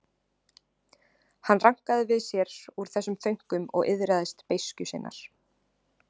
Hann rankaði við sér úr þessum þönkum og iðraðist beiskju sinnar.